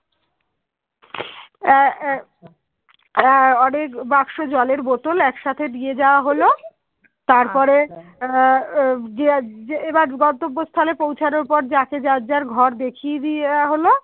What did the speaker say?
এবার যে গন্তব্য স্থলে পৌঁছানোর পরে যাকে যার যার ঘর দেখিয়ে দেওয়া হলো